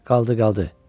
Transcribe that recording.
Qaldı, qaldı.